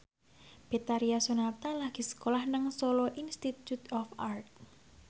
Betharia Sonata lagi sekolah nang Solo Institute of Art